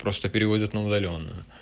просто переводят на удалённо